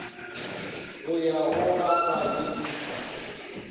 go ya go a mabedika